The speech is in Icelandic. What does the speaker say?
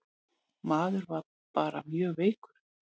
Maður var bara mjög veikur.